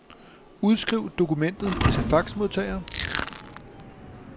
Udskriv dokumentet til faxmodtager.